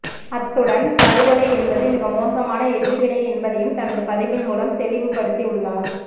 அத்துடன் படுகொலை என்பது மிக மோசமான எதிர்வினை என்பதையும் தனது பதிவின் மூலம் தெளிவுப்படுத்தி உள்ளார்